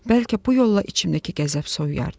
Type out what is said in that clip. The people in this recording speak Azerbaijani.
Bəlkə bu yolla içimdəki qəzəb soyuyardı.